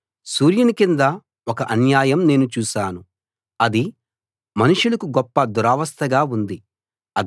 సూర్యుని కింద ఒక అన్యాయం నేను చూశాను అది మనుషులకు గొప్ప దురవస్థగా ఉంది